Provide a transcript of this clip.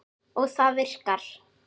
Og það virkar.